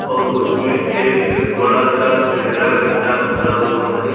और उसमें एक बड़ा सा गहरा गड्ढा खुदा हुआ है।